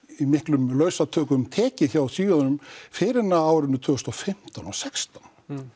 í miklum lausatökum tekið hjá Svíunum fyrr en á árinu tvö þúsund og fimmtán og sextán